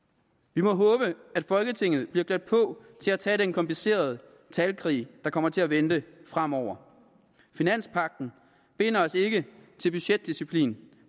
vi må håbe at folketinget bliver klædt på til at tage den komplicerede talkrig der kommer til at vente fremover finanspagten binder os ikke til budgetdisciplin